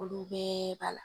Olu bɛɛ b'a la.